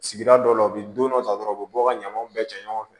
Sigida dɔw la u bɛ don dɔ ta dɔrɔn u bɛ bɔ ka ɲamanw bɛɛ cɛ ɲɔgɔn fɛ